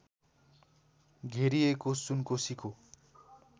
घेरिएको सुनकोसीको